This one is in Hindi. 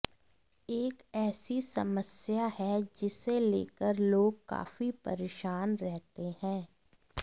एक ऐसी समस्या है जिसे लेकर लोग काफी परेशान रहते हैं